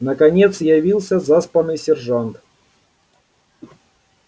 наконец явился заспанный сержант